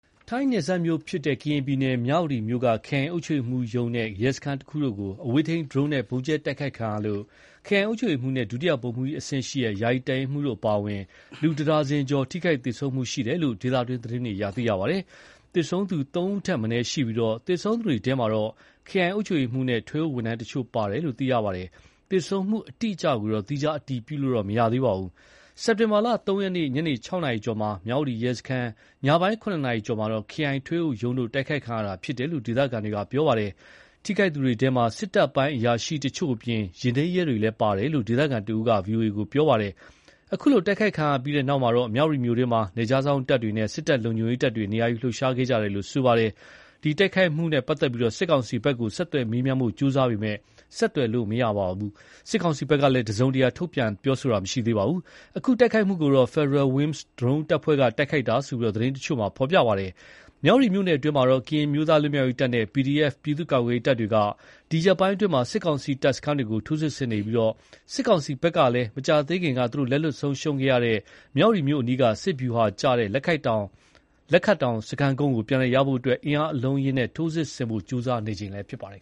ထိုင်းနယ်စပ်မြို့ဖြစ်တဲ့ ကရင်ပြည်နယ်မြ၀တီမြို့က ခရိုင်အုပ်ချုပ်ရေးမှူးရုံးနဲ့ ရဲစခန်းတခုတို့ကို အဝေးထိန်းဒရုန်းနဲ့ ဗုံးကြဲတိုက်ခိုက်ခံရလို့ ခရိုင်အုပ်ချုပ်ရေးမှူးနဲ့ ဒုတိယဗိုလ်မှူးကြီးအဆင့် ယာယီတပ်ရင်းမှူးတို့အပါအဝင် လူတဒါဇင်ကျော် ထိခိုက်သေဆုံးခဲ့တယ်လို့ ဒေသတွင်းသတင်းတွေအရ သိရပါတယ်။ သေဆုံးသူ သုံးဦးထက်မနည်းရှိပြီး သေဆုံးသူတွေထဲ ခရိုင်အုပ်ချုပ်ရေးမှူးနဲ့ ထွေအုပ်ဝန်ထမ်းတချို့ပါဝင်တယ်လို့ ပြောပါတယ်။ သေဆုံးမှုအတိအကျကိုတော့ သီးခြားအတည်ပြုလို့ မရသေးပါဘူး။ စက်တင်ဘာလ ၃ ရက်နေ့ ညနေ ၆ နာရီကျော်မှာ မြ၀တီရဲစခန်း၊ ညပိုင်း ၇ နာရီကျော်မှာ ခရိုင်ထွေအုပ်ရုံးတို့ တိုက်ခိုက်ခံရတာဖြစ်တယ်လို့ ဒေသခံတွေပြောပါတယ်။ ထိခိုက်သူတွေထဲ စစ်တပ်ပိုင်းအရာရှိတချို့အပြင် ယာဉ်ထိမ်းရဲတွေလည်းပါဝင်တယ်လို့ ဒေသခံတဦးက ဗွီအိုအေကို ပြောပါတယ်။ အခုလို တိုက်ခိုက်ခံရပြီးတဲ့နောက်တော့ မြ၀တီမြို့တွင်း နယ်ခြားစောင့်တပ်တွေနဲ့ စစ်တပ်လုံခြုံရေးတပ်တွေ နေရာယူလှုပ်ရှားခဲ့ကြတယ်လို့လည်း ပြောပါတယ်။ ဒီတိုက်ခိုက်ခံရမှုနဲ့ပတ်သက်လို့ စစ်ကောင်စီဘက်ကို ဆက်သွယ်မေးမြန်းဖို့ ကြိုးစားပေမယ့် ဆက်သွယ်လို့မရသလို စစ်ကောင်စီဘက်က တစုံတရာ ထုတ်ပြန်တာလည်းမရှိသေးပါဘူး။ အခု တိုက်ခိုက်မှုကို Federal Wings ဒရုန်းတပ်ဖွဲ့က တိုက်ခိုက်တာလို့ သတင်းတချို့မှာ ဖော်ပြပါတယ်။ မြ၀တီမြို့နယ်အတွင်း ကရင်အမျိုးသားလွတ်မြောက် ရေးတပ်နဲ့ PDF ပြည်သူ့ကာကွယ်ရေးတပ်တွေက ဒီရက်ပိုင်းအတွင်း စစ်ကောင်စီတပ်စခန်းတွေကို ထိုးစစ်ဆင်နေပြီး စစ်ကောင်စီဘက်ကလည်း မကြားသေးခင်က သူတို့လက်လွှတ်ဆုံးရှုံးခဲ့ရတဲ့ မြ၀တီမြို့အနီး စစ်ဗျူဟာကျတဲ့ လက်ခတ်တောင် စခန်းကုန်းကိုပြန်လည်ရရှိဖို့ အင်အားအလုံးအရင်းနဲ့ ထိုးစစ်ဆင်ဖို့ ကြိုးစားနေချိန်လည်းဖြစ်ပါတယ်